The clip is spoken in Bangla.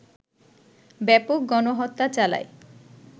ব্যাপক গণহত্যা চালায়